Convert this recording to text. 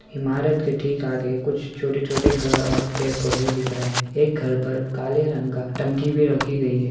ईमारत के ठीक आगे कुछ छोटे-छोटे घर और पेड़-पौधे दिख रहे है एक घर पर काले रंग का टंकी भी रखी गयी है।